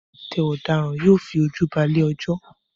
Tí ọwọ́ bá tẹ ọ̀daràn, yóò fi ojú ba ilé-ẹjọ́